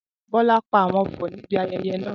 Bola pa àwon ọfọ̀ níbi ayẹyẹ náà.